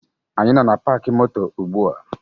Anyị nọ na paakị moto ugbua